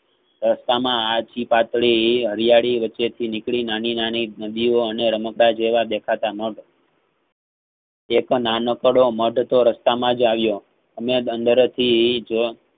રસ્તામાં આ આછી પાતળી હરિયાળી વચ્ચે થી નીકળી નાની~નાની નદીઓ અને રમકડાં જેવા દેખાતા મઢ એક નાનકડો મઢ તો રસ્તામાંજ આવ્યો અને અંદર થીજ